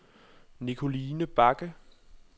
Nicoline Bagge